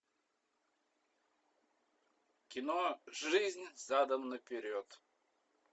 кино жизнь задом наперед